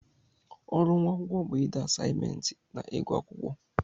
Ọrụ nwa akwụkwọ bụ ịde asaimentị na ịgụ akwụkwọ.